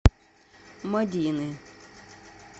мадины